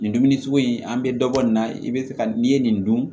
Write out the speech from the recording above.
Nin dumuni sugu in an bɛ dɔ bɔ nin na i bɛ se ka n'i ye nin dun